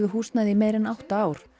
húsnæði í meira en átta ár